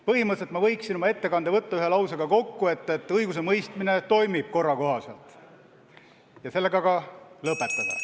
Põhimõtteliselt ma võiksin oma ettekande võtta kokku ühe lausega, et õigusemõistmine toimub korra kohaselt, ja sellega ka lõpetada.